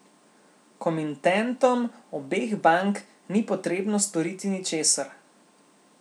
Komintentom obeh bank ni potrebno storiti ničesar.